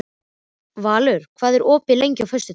Valur, hvað er opið lengi á föstudaginn?